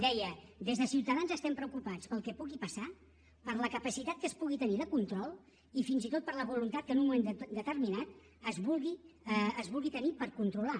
deia des de ciutadans estem preocupats pel que pugui passar per la capacitat que es pugui tenir de control i fins i tot per la voluntat que en un moment determinat es vulgui tenir per controlar